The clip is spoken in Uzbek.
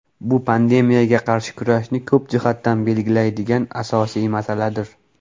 Bu pandemiyaga qarshi kurashni ko‘p jihatdan belgilaydigan asosiy masaladir.